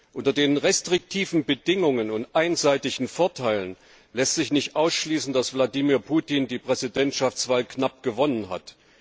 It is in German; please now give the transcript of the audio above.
Unter den restriktiven Bedingungen und einseitigen Vorteilen lässt sich nicht ausschließen, dass Vladimir Putin die Präsidentschaftswahl knapp gewonnen hat.